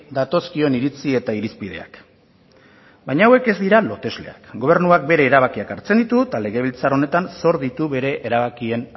datozkion iritzi eta irizpideak baina hauek ez dira lotesleak gobernuak bere erabakiak hartzen ditu eta legebiltzar honetan zor ditu bere erabakien